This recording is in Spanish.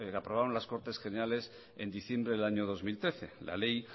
aprobaron las cortes generales en diciembre del año dos mil trece la ley